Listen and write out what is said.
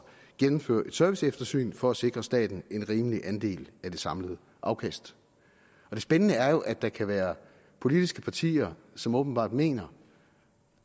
gennemføre et serviceeftersyn for at sikre staten en rimelig andel af det samlede afkast det spændende er jo at der kan være politiske partier som åbenbart mener